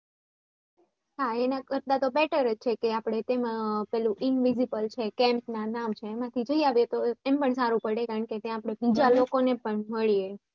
હા એના કરતા તો better જ છે કે આપ ને તેમાં invisible છે camp ના નામ છે એમાંથી આપણે બીજા લોકોંને પણ માળીયે